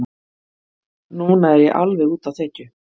Núna er ég alveg úti á þekju.